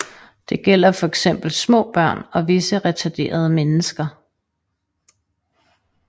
Det gælder fx små børn og visse retarderede mennesker